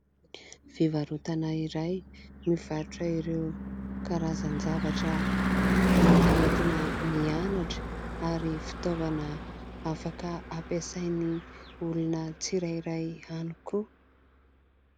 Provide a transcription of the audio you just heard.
Fivarotana iray mivarotra ireo karazan-javatra mety ho entina mianatra ary fitaovana afaka hampiasain'ny olona tsirairay ihany koa.